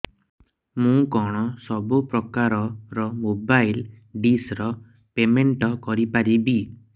ମୁ କଣ ସବୁ ପ୍ରକାର ର ମୋବାଇଲ୍ ଡିସ୍ ର ପେମେଣ୍ଟ କରି ପାରିବି